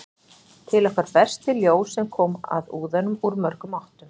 til okkar berst því ljós sem kom að úðanum úr mörgum áttum